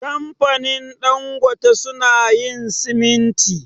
Kamfanin Dangote su na yin siminti